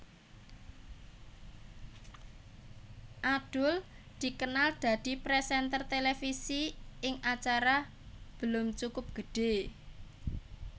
Adul dikenal dadi présènter televisi ing acara Belum Cukup Gede